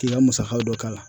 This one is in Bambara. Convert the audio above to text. K'i ka musaka dɔ k'a la